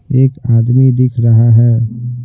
एक आदमी दिख रहा है।